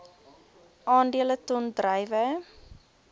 aandele ton druiwe